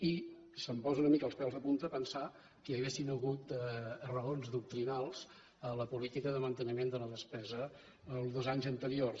i se’m posen una mica els pèls de punta pensar que hi haguessin hagut raons doctrinals a la política de manteniment de la despesa els dos anys anteriors